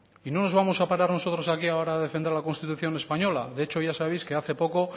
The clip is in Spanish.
y no nos vamos a parar nosotros aquí ahora a defender la constitución española de hecho ya sabéis que hace poco